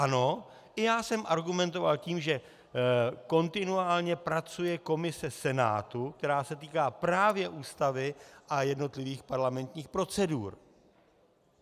Ano, i já jsem argumentoval tím, že kontinuálně pracuje komise Senátu, která se týká právě Ústavy a jednotlivých parlamentních procedur.